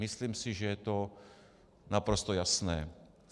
Myslím si, že je to naprosto jasné.